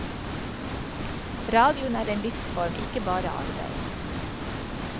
Radioen er en livsform, ikke bare arbeid.